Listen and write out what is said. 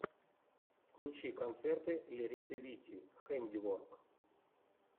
включи концерты лериты вити хэндиворк